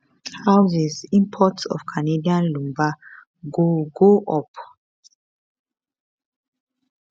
houses imports of canadian lumber go go up